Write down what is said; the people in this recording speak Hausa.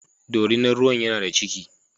Dorinar ruwan yana da ciki.